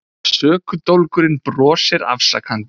Sökudólgurinn brosir afsakandi.